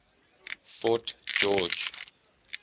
fort george